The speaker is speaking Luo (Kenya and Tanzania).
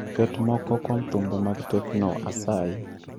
Ket moko kuom thumbe mag tecno asayi